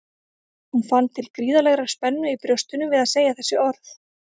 Hún fann til gríðarlegrar spennu í brjóstinu við að segja þessi orð.